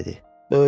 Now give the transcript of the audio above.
Ginni dedi.